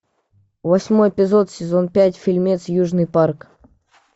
восьмой эпизод сезон пять фильмец южный парк